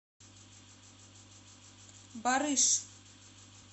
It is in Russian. барыш